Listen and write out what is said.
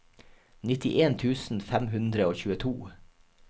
nittien tusen fem hundre og tjueto